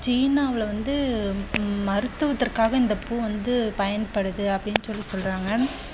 சீனாவில் வந்து மருத்துவத்திற்காக இந்த பூ வந்து பயன்படுது அப்படின்னு சொல்லி சொல்றாங்க.